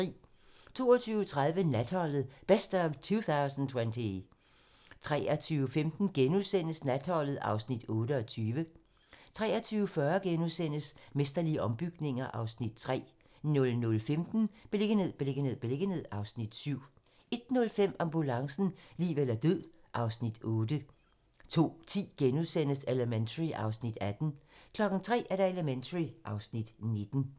22:30: Natholdet - Best of 2020 23:05: Natholdet (Afs. 28)* 23:40: Mesterlige ombygninger (Afs. 3)* 00:15: Beliggenhed, beliggenhed, beliggenhed (Afs. 7) 01:05: Ambulancen - liv eller død (Afs. 8) 02:10: Elementary (Afs. 18)* 03:00: Elementary (Afs. 19)